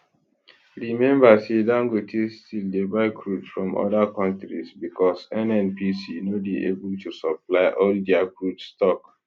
remember say dangote still dey buy crude from oda kontris bicos nnpc no dey able to supply all dia crude stock